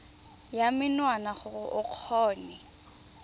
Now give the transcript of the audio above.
ya menwana gore o kgone